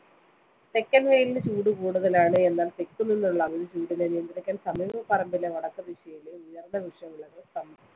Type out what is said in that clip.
തെക്കന്‍വെയിലിന് ചൂട് കൂടുതലാണ്. എന്നാല്‍ തെക്കു നിന്നുള്ള അമിതചൂടിനെ നിയന്ത്രിക്കാന്‍ സമീപപറമ്പിലെ വടക്കുദിശയിലെ ഉയര്‍ന്ന വൃക്ഷ.